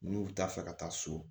N'u bɛ taa fɛ ka taa so